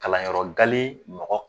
Kalanyɔrɔ gale mɔgɔ